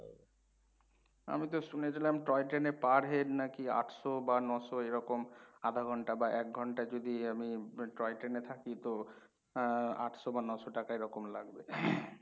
আমি তো শুনেছিলাম টয় ট্রেনে per head নাকি আটশো বা ন শো এরকম আধা ঘণ্টা বা এক ঘণ্টা যদি আমি টয় ট্রেনে থাকি তো আহ আটশো বা ন শো টাকা এরকম লাগবে।